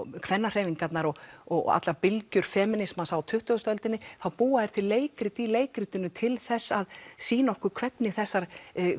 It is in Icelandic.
kvennahreyfingarnar og og allar bylgjur feminísmans á tuttugustu öldinni þá búa þeir til leikrit í leikritinu til þess að sýna okkur hvernig þessar